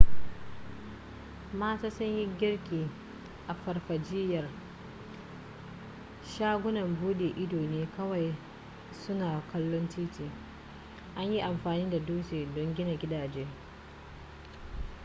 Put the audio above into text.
mata sun yi girki a farfajiyar shagunan buɗe ido ne kawai suna kallon titi an yi amfani da dutse don gina gidaje